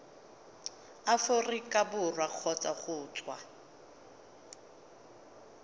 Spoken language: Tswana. aforika borwa kgotsa go tswa